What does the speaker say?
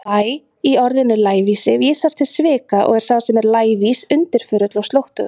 Læ- í orðinu lævísi vísar til svika og er sá sem er lævís undirförull, slóttugur.